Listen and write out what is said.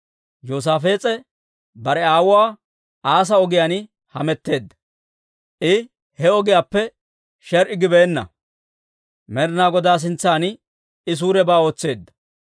Yoosaafees'e bare aawuwaa Asaa ogiyaan hametteedda; I he ogiyaappe sher"i gibeenna; Med'inaa Godaa sintsan I suurebaa ootseedda.